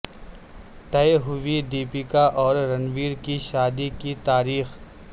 طے ہوئی دیپیکا اور رنویر کی شادی کی تاریخ